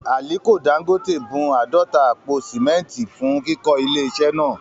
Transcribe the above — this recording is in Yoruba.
Àliko Dangote bun àádọ́ta àpò sìmẹ́ntì fún kíkọ́ ilé iṣẹ́ náà